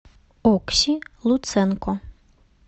окси луценко